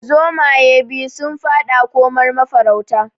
Zomaye biyu su faɗa komar mafarauta